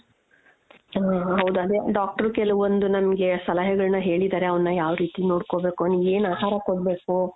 ಹ ಹ ಹೌದು ಅದೇ doctor ಕೆಲವೊಂದು ನಮ್ಗೆ ಸಲಹೆಗಳನ್ನ ಹೇಳಿದಾರೆ ಅವ್ನ ಯಾವ್ ರೀತಿ ನೋಡ್ಕೋಬೇಕು ಅವ್ನಿಗೆ ಏನ್ ಆಹಾರ ಕೊಡ್ಬೇಕು .